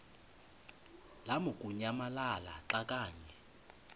lamukunyamalala xa kanye